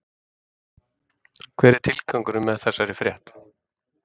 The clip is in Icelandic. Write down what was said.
Hver er tilgangurinn með þessari frétt?